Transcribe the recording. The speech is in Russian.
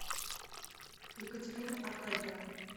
екатерины аркадьевны